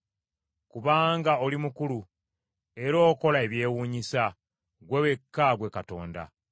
Kubanga oli mukulu, era okola ebyewunyisa; ggwe wekka ggwe Katonda.